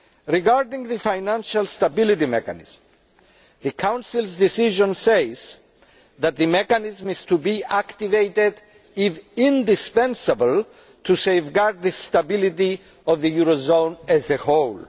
Regarding the Financial Stability Mechanism, the Council's decision says that the mechanism is to be activated if indispensable to safeguard the stability of the eurozone as a whole'.